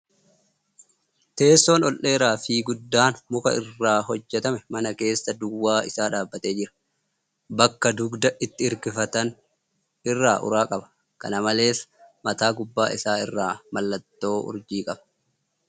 Teessoon ol dheeraa fi guddaan muka irraa hojjatame mana keessa duwwaa isaa dhaabbatee jira. Bakka dugda itti hirkifatan irraa uraa qaba. Kana malees, mataa gubbaa isaa irraa mallattoo urjii qaba.